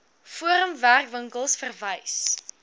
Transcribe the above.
forum werkwinkels verwys